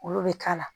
Olu bɛ k'a la